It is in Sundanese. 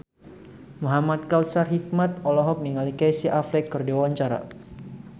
Muhamad Kautsar Hikmat olohok ningali Casey Affleck keur diwawancara